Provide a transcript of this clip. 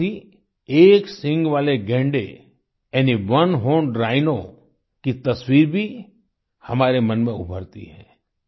साथ ही एक सींग वाले गैंडे यानी ओने हॉर्न राइनो की तस्वीर भी हमारे मन में उभरती है